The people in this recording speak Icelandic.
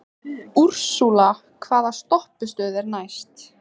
Úrsúla, hvaða stoppistöð er næst mér?